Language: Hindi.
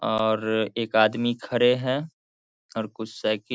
और एक आदमी खड़े हैं और कुछ साइकिल --